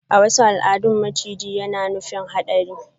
A wasu al'adun maciji na nufin hadari.